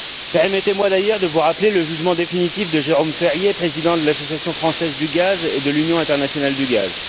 Permettez moi d'ailleurs de vous rappeler le jugement définitif de Jérôme Ferrier, président de l'Association française du gaz et de l'Union internationale du gaz.